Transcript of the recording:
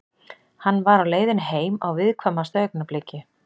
Hann var á leiðinni heim á viðkvæmasta augnabliki.